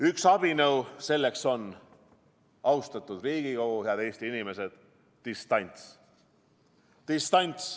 Üks abinõu selleks on, austatud Riigikogu, head Eesti inimesed, distants.